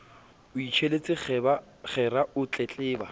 o itjelletse kgera o tletleba